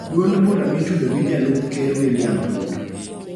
duond bura mitudo gi Jalup Ker William Ruto.